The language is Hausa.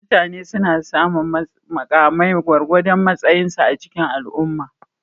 Mutane suna samun mukamai gwargwadon matsayinsu a cikin al'umma.